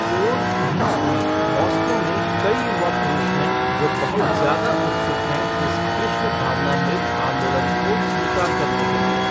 तोड़, रूस में मास्को में कई युवा पुरुष हैं जो बहुत ज्यादा उत्सुक हैं इस कृष्ण भावनामृत आंदोलन को स्वीकार करने के लिए।